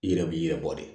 I yɛrɛ b'i yɛrɛ bɔ de